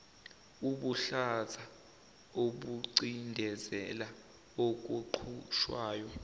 ubuhlaza obucindezela okuqhutshwayo